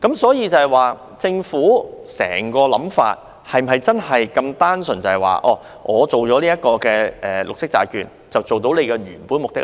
所以，政府整個想法是否真的如此單純地透過推行綠色債券來達到原有目的呢？